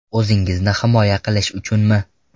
O‘zingizni himoya qilish uchunmi?